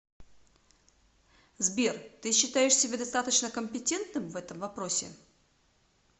сбер ты считаешь себя достаточно компетентным в этом вопросе